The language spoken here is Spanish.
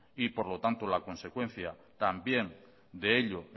y por lo tanto la consecuencia también de ello